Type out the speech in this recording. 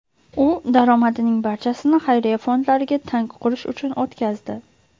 U daromadining barchasini xayriya fondlariga tank qurish uchun o‘tkazdi.